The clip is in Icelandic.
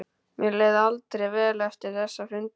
Mér leið aldrei vel eftir þessa fundi.